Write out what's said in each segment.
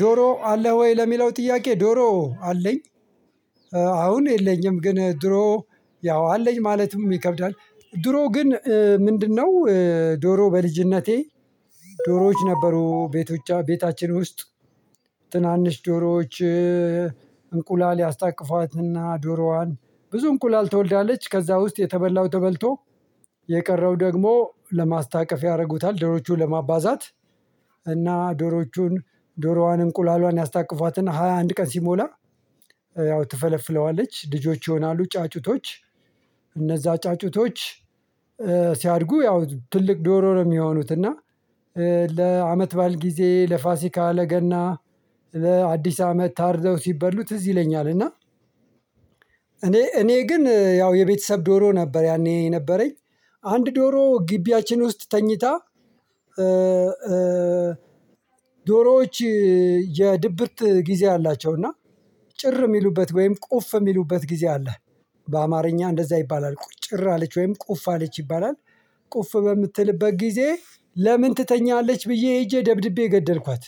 ዶሮ አለህ ወይ? ለሚለው ጥያቄ ዶሮ አለኝ አሁን የለኝም ግን ድሮ ያው አለኝ ማለትም ይከብዳል ድሮ ግን ምንድነው ዶሮ በልጅነቴ ዶሮዎች ነበሩ ቤቶች ቤታችን ውስጥ ትናንሽ ዶሮዎች እንቁላል ያስታቅፏትና ዶሮዋን ብዙ እንቁላል ትወልዳለች ከዛ ውስጥ የተበላው ተበልቶ የቀረው ደግሞ ለማስታቀፍ ያደርጉታል ዶሮዎቹን ለማባዛት እና ዶሮዎቹን ዶሮዋን እንቁላሏን ያስታቅፏትና ሃያ አንድ ቀን ሲሞላ ያው ትፈለፍለዋለች ልጆች ይሆናሉ ጫጩቶች እነዛ ጫጩቶች ሲያድጉ ያው ትልቅ ዶሮ ነው የሚሆኑት እና ለአመት በዓል ጊዜ ለፋሲካ ለገና ለአዲስ አመት ታርደው ሲበሉ ትዝ ይለኛል እና እኔ እኔ ግን ያው የቤተሰብ ዶሮ ነበር ያኔ የነበረኝ አንድ ዶሮ ግቢያችን ውስጥ ተኝታ ዶሮዎች የድብርት ጊዜ አላቸው እና ጭር የሚሉበት ወይም ቁፍ የሚሉበት ጊዜ አለ በአማርኛ እንደዛ ይባላል ቁጭር አለች ወይም ቁፍ አለች ይባላል ቁፍ በምትልበት ጊዜ ለምን ትተኛለች ብዬ ሄጄ ደብድቤ ገደልኳት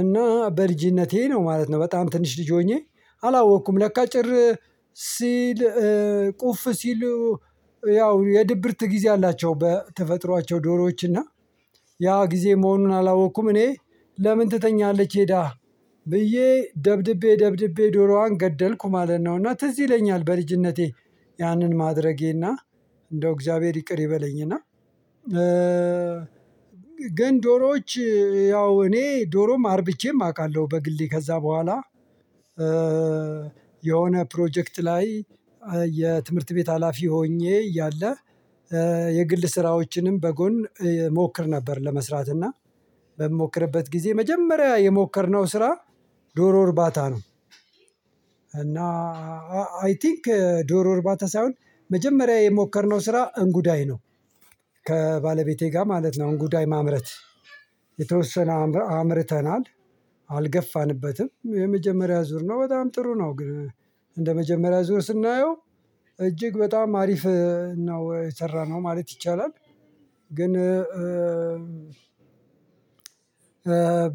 እና በልጅነቴ ነው ማለት ነው በጣም ትንሽ ልጅ ሆኜ አላወቅኩም ለካ ጭር ሲል ቁፍ ሲሉ ያው የድብርት ጊዜ አላቸው በተፈጥሯቸው ዶሮዎች እና ያ ጊዜ መሆኑን አላወቅኩም እኔ ለምን ትተኛለች ሄዳ ብዬ ደብድቤ ደብድቤ ዶሮዋን ገደልኩ ማለት ነውና ትዝ ይለኛል በልጅነቴ ያንን ማድረጌና እንደው እግዚአብሔር ይቅር ይበለኝና ግን ዶሮዎች ያው እኔ ዶሮም አርብቼም አውቃለሁ በግሌ ከዛ በኋላ የሆነ ፕሮጀክት ላይ የትምህርት ቤት ሀላፊ ሆኜ እያለ የግል ስራዎችንም በጎን ሞክር ነበር ለመስራት እና በምሞክርበት ጊዜ መጀመሪያ የሞከርነው ስራ ዶሮ እርባታ ነው እና አይ ቲንክ ዶሮ እርባታ ሳይሆን መጀመሪያ የሞከርነው ስራ እንጉዳይ ነው ከባለቤቴ ጋር ማለት ነው እንጉዳይ ማምረት የተወሰነ አምርተናል አልገፋንበትም የመጀመሪያ ዙር ነው በጣም ጥሩ ነው ግን እንደመጀመሪያ ዙር ስናየው እጅግ በጣም አሪፍ ነው የሰራነው ማለት ይቻላል ግን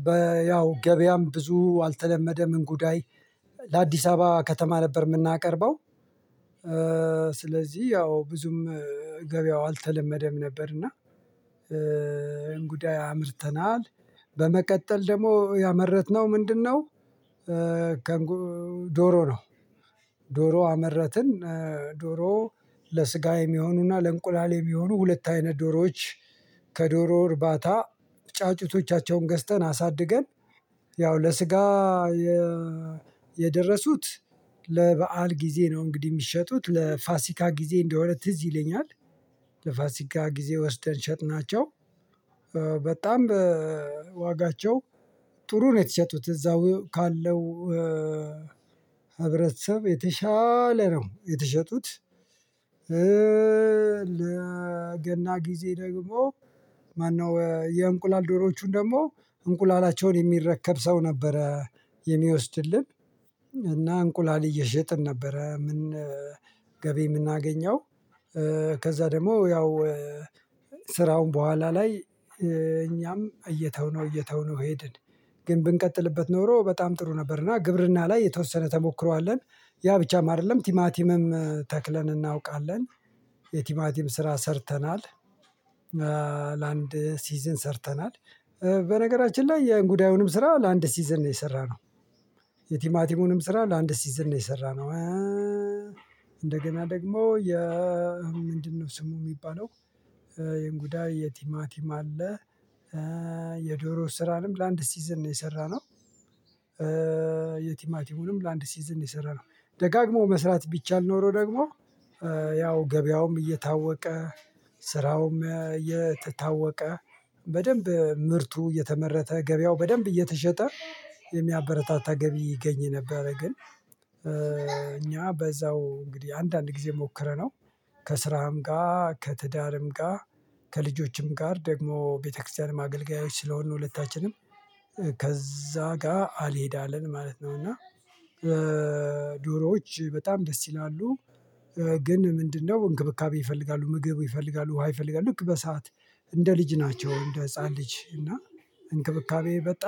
በ ያው ገበያም ብዙ አልተለመደም እንጉዳይ ለአዲስ አበባ ከተማ ነበር የምናቀርበው ያው ብዙም ገበያው አልተለመደም ነበር እና እንጉዳይ አምርተናል በመቀጠል ደግሞ ያመረትነው ምንድነው ከእንጉ ዶሮ ነው ዶሮ አመረትን ዶሮ ለስጋ የሚሆኑና ለእንቁላል የሚሆኑ ሁለት አይነት ዶሮዎች ከዶሮ እርባታ ጫጩቶቻቸውን ገዝተን አሳድገን ያው ለስጋ የደረሱት ለበአል ጊዜ ነው እንግዲህ የሚሸጡት ለፋሲካ ጊዜ እንደሆነ ትዝ ይለኛል ለፋሲካ ጊዜ ወስደን ሸጥናቸው በጣም በዋጋቸው ጥሩ ነው የተሸጡት እዛው ካለው የተሻለ ነው የተሸጡት ለገና ጊዜ ደግሞ ማነው የእንቁላል ዶሮዎቹን ደግሞ እንቁላላቸውን የሚረከብ ሰው ነበረ የሚወስድልን እና እንቁላል እየሸጥን ነበረ ምን ገቢ የምናገኘው ከዛ ደግሞ ያው ስራውን በኋላ ላይ እየተውነው እየተውነው ሄድን ግን ብንቀጥልበት ኖሮ በጣም ጥሩ ነበርና ግብርና ላይ የተወሰነ ተሞክሮ ያ ብቻም አይደለም ቲማቲምም ተክለን እናውቃለን የቲማቲም ስራ ሰርተናል ለአንድ ሲዝን ሰርተናል በነገራችን ላይ የእንጉዳዩንም ስራ ለአንድ ሲዝን ነው የሰራነው የቲማቲሙንም ስራ ለአንድ ሲዝን ነው የሰራነው እንደገና ደግሞ የ ምንድነው ስሙ የሚባለው የእንጉዳይ የቲማቲም አለ የዶሮ ስራንም ለአንድ ሲዝን ነው የሰራነው የቲማቲሙንም ለአንድ ሲዝን ነው የሰራነው ደጋግሞ መስራት ቢቻል ኖሮ ደግሞ ያው ገበያውም እየታወቀ ስራውም እየተታወቀ በደንብ ምርቱ እየተመረተ ገበያው በደንብ እየተሸጠ የሚያበረታታ ገቢ ይገኝ ነበረ ግን እኛ በዛው እንግዲህ አንዳንድ ጊዜ ሞክረነው ከስራም ጋር ከትዳርም ጋር ከልጆችም ጋር ደግሞ ቤተክርስቲያን ማገልገያዎች ስለሆንን ነው ሁለታችንም ከዛ ጋር አልሄዳለን ማለት ነው እና ዶሮዎች በጣም ደስ ይላሉ ግን ምንድነው እንክብካቤ ይፈልጋሉ ምግብ ይፈልጋሉ ውሃ ይፈልጋሉ ልክ በሰአት እንደ ልጅ ናቸው እንደ ህፃን ልጅ እና እንክብካቤ በጣም